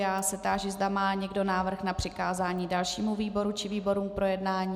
Já se táži, zda má někdo návrh na přikázání dalšímu výboru či výborům k projednání.